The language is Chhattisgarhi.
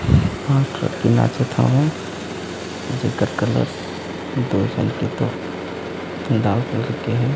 पांच ठो लड़की नाचत हवय जेकर कलर दो झन के तो लाल कलर के हे।